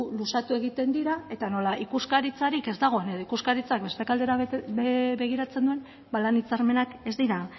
luzatu egiten dira eta nola ikuskaritzarik ez dagoen edo ikuskaritzak beste alde batera begiratzen duen ba lan hitzarmenak ez dira